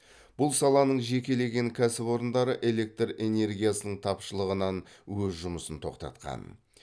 бұл саланың жекелеген кәсіпорындары электр энергиясының тапшылығынан өз жұмысын тоқтатқан